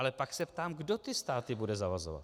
Ale pak se ptám, kdo ty státy bude zavazovat.